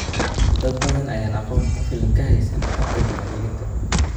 Dad badan ayaan aqoon ku filan ka haysan habka diiwaangelinta.